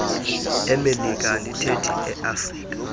emelika andithethi eafrika